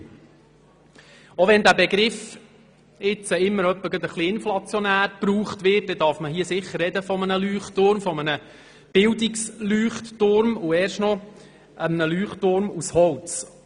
Auch wenn der Begriff gerade etwas inflationär gebraucht wird, so darf man doch von einem Leuchtturm sprechen, genau genommen von einem Bildungs-Leuchtturm und erst noch einem Leuchtturm aus Holz.